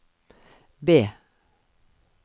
B